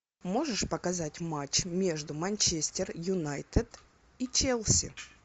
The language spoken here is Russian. можешь показать матч между манчестер юнайтед и челси